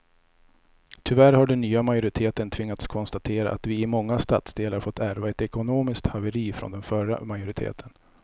Tyvärr har den nya majoriteten tvingats konstatera att vi i många stadsdelar fått ärva ett ekonomiskt haveri från den förra majoriteten.